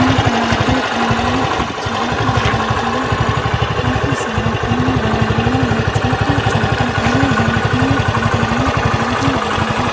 यहाँ पर आप देख रहे है एक पक्षी बैठ हुआ है जहां पर काफी सारा पानी भरा हुआ है छोटे छोटे हरे हरे पेड़ पौधे यहाँ पर लगे हुए--